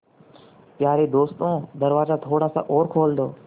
यारे दोस्तों दरवाज़ा थोड़ा सा और खोल दो